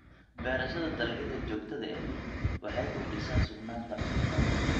Beerashada dalagyada joogtada ahi waxay kordhisaa sugnaanta cuntada.